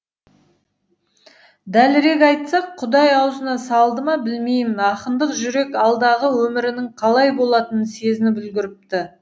дәлірек айтсақ құдай аузына салды ма білмеймін ақындық жүрек алдағы өмірінің қалай болатынын сезініп үлгіріпті